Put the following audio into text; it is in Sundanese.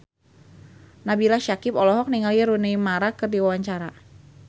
Nabila Syakieb olohok ningali Rooney Mara keur diwawancara